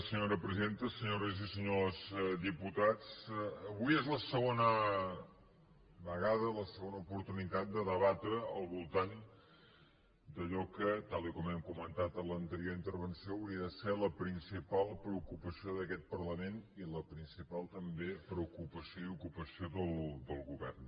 senyores i senyors diputats avui és la segona vegada la segona oportunitat de debatre al voltant d’allò que tal i com hem comentat en l’anterior intervenció hauria de ser la principal preocupació d’aquest parlament i la principal també preocupació i ocupació del govern